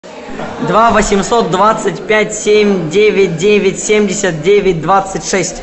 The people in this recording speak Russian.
два восемьсот двадцать пять семь девять девять семьдесят девять двадцать шесть